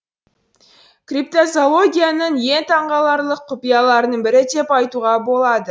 криптозоологияның ең таңғаларлық құпияларының бірі деп айтуға болады